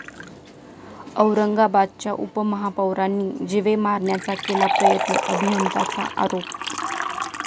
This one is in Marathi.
औरंगाबादच्या उपमहापौरांनी जीवे मारण्याचा केला प्रयत्न, अभियंताचा आरोप